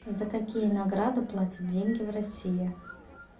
за какие награды платят деньги в россии